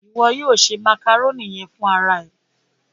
Iwọ yóò se màkàrónì yẹn fún ara ẹ.